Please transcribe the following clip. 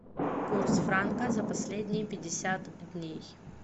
курс франка за последние пятьдесят дней